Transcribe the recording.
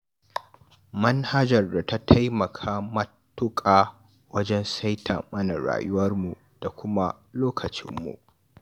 Manhajar ta taimaka matuƙa wajen saita mana rayuwarmu da kuma lokacinmu